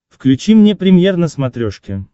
включи мне премьер на смотрешке